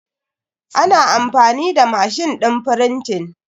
Ana amfani da mashin din frintin